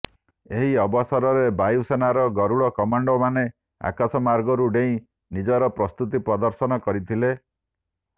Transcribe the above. ଏହି ଅବସରରେ ବାୟୁସେନାର ଗରୁଡ କମାଣ୍ଡୋମାନେ ଆକାଶମାର୍ଗରୁ ଡେଇଁ ନିଜର ପ୍ରସ୍ତୁତି ପ୍ରଦର୍ଶନ କରିଥିଲେ